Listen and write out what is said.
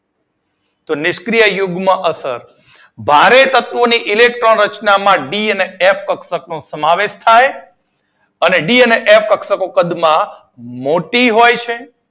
તો નિષ્ક્રીય યુગ્મ અસર. ભારે તત્વો ની ઇલેક્ટ્રોન રચનામાં ડી અને એફ કક્ષક નો સમાવેશ થાય અને ડી અને એફ કક્ષક કદ માં મોટી હોય છે